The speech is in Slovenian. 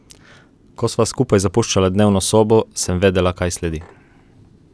Ko sva skupaj zapuščala dnevno sobo, sem vedela, kaj sledi.